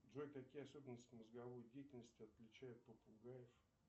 джой какие особенности мозговой деятельности отличают попугаев